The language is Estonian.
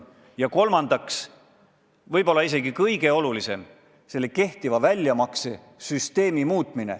Ja kolmandaks, võib-olla isegi kõige olulisem on kehtiva väljamaksesüsteemi muutmine.